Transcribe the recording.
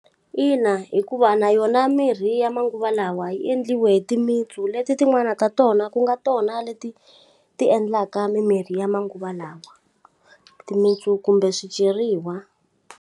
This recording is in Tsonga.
Ina, hikuva na yona mirhi ya manguva lawa yi endliwe hi timitsu leti tin'wani ta tona ku nga tona leti ti endlaka mimirhi ya manguva lawa. Timitsu kumbe swicheriwa.